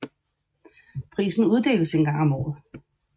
Prisen uddeles en gang om året